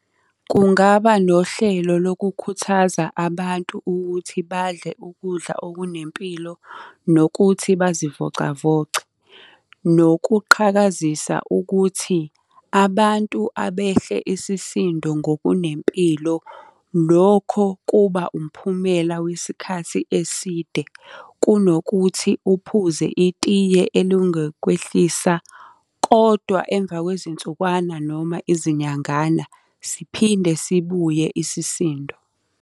Kungaba nohlelo lokukhuthaza abantu ukuthi badle ukudla okunempilo, nokuthi bazivocavoce. Nokuqhakazisa ukuthi, abantu abehle isisindo ngokunempilo, lokho kuba umphumela wesikhathi eside kunokuthi uphuze itiye elingakwehlisa, kodwa emva kwezinsukwana noma izinyangana siphinde sibuye isisindo.